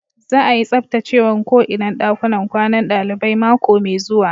Za'a yi tsabtacewan ko inan dakunan kwanan dalibai mako mai zuwa.